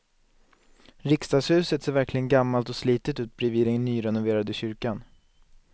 Riksdagshuset ser verkligen gammalt och slitet ut bredvid den nyrenoverade kyrkan.